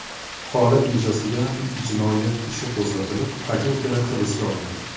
Holat yuzasidan jinoyat ishi qo‘zg‘atilib, aka-ukalar hibsga olindi.